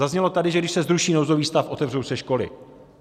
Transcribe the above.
Zaznělo tady, že když se zruší nouzový stav, otevřou se školy.